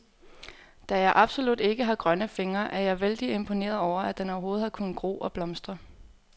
Da jeg absolut ikke har grønne fingre, er jeg vældig imponeret over, at den overhovedet har kunnet gro og blomstre.